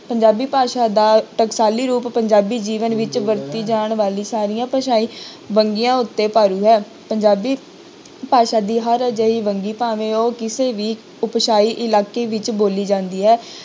ਪੰਜਾਬੀ ਭਾਸ਼ਾ ਦਾ ਟਕਸਾਲੀ ਰੂਪ ਪੰਜਾਬੀ ਜੀਵਨ ਵਿੱਚ ਵਰਤੀ ਜਾਣ ਵਾਲੀ ਸਾਰੀਆਂ ਭਾਸ਼ਾਈ ਵੰਨਗੀਆਂ ਉੱਤੇ ਭਾਰੀ ਹੈ ਪੰਜਾਬੀ ਭਾਸ਼ਾ ਦੀ ਹਰ ਅਜਿਹੀ ਵੰਨਗੀ ਭਾਵੇਂ ਉਹ ਕਿਸੇ ਵੀ ਭਾਸਾਈ ਇਲਾਕੇ ਵਿੱਚ ਬੋਲੀ ਜਾਂਦੀ ਹੈ,